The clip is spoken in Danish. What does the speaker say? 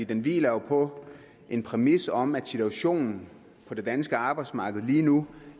den hviler på en præmis om at situationen på det danske arbejdsmarked lige nu